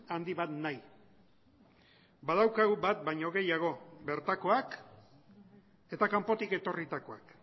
handi bat nahi badaukagu bat baino gehiago bertakoak eta kanpotik etorritakoak